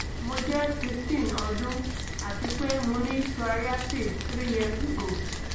mo jẹ sixteen ọdún ati pe mo ni psoriasis three years ago